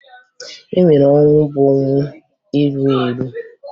E nwere ọnwụ bụ ọnwụ erughi erughi